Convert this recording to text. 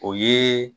O ye